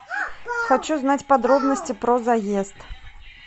хочу знать подробности про заезд